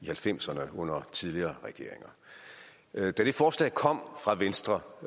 halvfemserne under tidligere regeringer da det forslag kom fra venstre